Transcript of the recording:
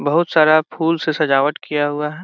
बहुत सारा फूल से सजावट किया हुआ है।